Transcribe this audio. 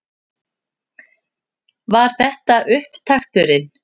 Var þetta upptakturinn?